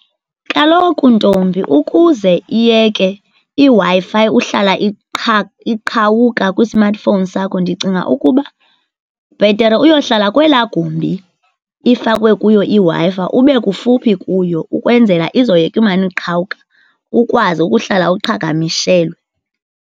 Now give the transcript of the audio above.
Kaloku, ntombi, ukuze iyeke iWi-Fi uhlala iqhawuka kwismathifouwni sakho, ndicinga ukuba bhetere uyohlala kwelaa gumbi ifakwe kuyo iW-Fi, ube kufuphi kuyo, ukwenzela izoyeka imana iqhawuka ukwazi ukuhlala uqhagamishelwe.